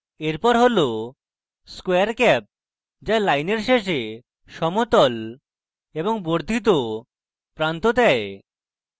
এরপর হল square cap যা লাইনের শেষে সমতল এবং বর্ধিত প্রান্ত দেয়